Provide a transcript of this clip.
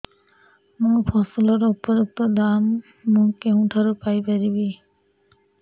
ମୋ ଫସଲର ଉପଯୁକ୍ତ ଦାମ୍ ମୁଁ କେଉଁଠାରୁ ପାଇ ପାରିବି